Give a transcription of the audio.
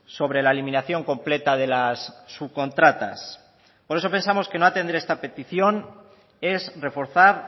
sobre la eliminación completa de las subcontratas por eso pensamos que no atender a esta petición es reforzar